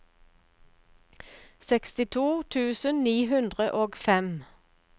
sekstito tusen ni hundre og fem